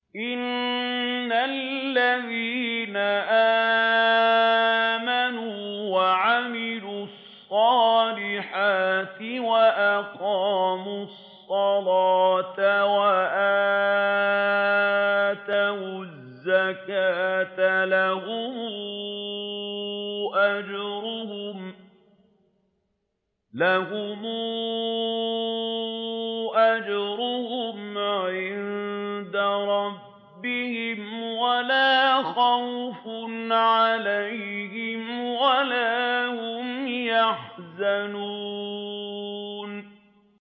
إِنَّ الَّذِينَ آمَنُوا وَعَمِلُوا الصَّالِحَاتِ وَأَقَامُوا الصَّلَاةَ وَآتَوُا الزَّكَاةَ لَهُمْ أَجْرُهُمْ عِندَ رَبِّهِمْ وَلَا خَوْفٌ عَلَيْهِمْ وَلَا هُمْ يَحْزَنُونَ